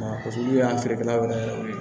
Paseke olu y'an feerekɛlaw yɛrɛ ye